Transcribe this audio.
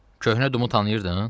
"Köhnə Dumu tanıyırdın?"